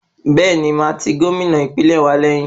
Bẹ́ẹ̀ni, màá ti Gómìnà ìpínlẹ̀ wa lẹ́yìn.